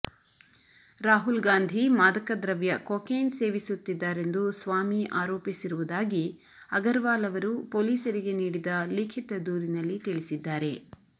ರಾಹುಲ್ ಗಾಂಧಿ ಮಾದಕದ್ರವ್ಯ ಕೊಕೇನ್ ಸೇವಿಸುತ್ತಿದ್ದಾರೆಂದು ಸ್ವಾಮಿ ಆರೋಪಿಸಿರುವುದಾಗಿ ಅಗರ್ವಾಲ್ ಅವರು ಪೊಲೀಸರಿಗೆ ನೀಡಿದ ಲಿಖಿತ ದೂರಿನಲ್ಲಿ ತಿಳಿಸಿದ್ದಾರೆ